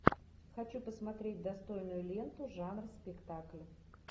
хочу посмотреть достойную ленту жанр спектакль